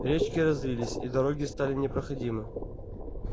речки разлились и дороги стали непроходимы